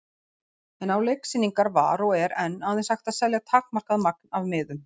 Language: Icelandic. En á leiksýningar var og er enn aðeins hægt að selja takmarkað magn af miðum.